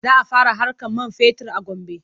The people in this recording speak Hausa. Za a fara haƙar man fetur a Gombe.